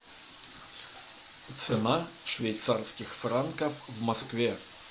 цена швейцарских франков в москве